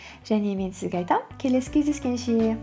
және мен сізге айтамын келесі кездескенше